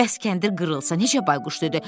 Bəs kəndir qırılsa necə, Bayquş dedi?